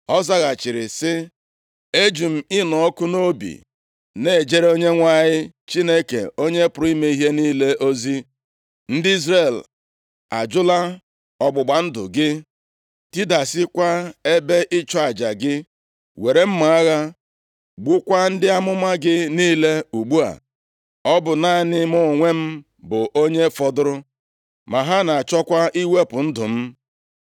Ọ zaghachiri sị, “Eji m ịnụ ọkụ nʼobi na-ejere Onyenwe anyị Chineke Onye pụrụ ime ihe niile ozi. Ndị Izrel ajụla ọgbụgba ndụ gị, tidasịakwa ebe ịchụ aja gị, were mma agha gbukwaa ndị amụma gị niile, ugbu a, ọ bụ naanị mụ onwe m bụ onye fọdụrụ, ma ha na-achọkwa iwepụ ndụ m.”